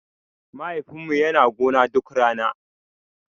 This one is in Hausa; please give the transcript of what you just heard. Mahaifin mu yana gona duk rana.